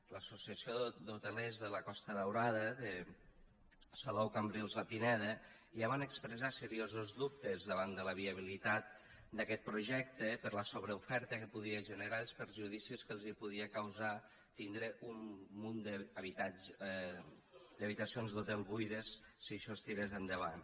l’associació d’hotelers de la costa daurada de salou cambrils la pineda ja van expressar seriosos dubtes davant de la viabilitat d’aquest projecte per la sobreoferta que podia generar i els perjudicis que els podia causar tindre un munt d’habitacions d’hotel buides si això es tirés endavant